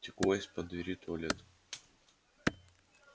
текло из-под двери туалета